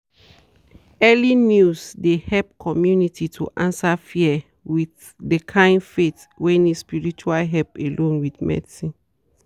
early news de help community to answer fear with dey kind faith wey need spirtual help alone with medicine.